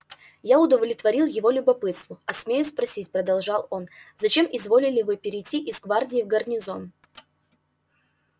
я удовлетворил его любопытству а смею спросить продолжал он зачем изволили вы перейти из гвардии в гарнизон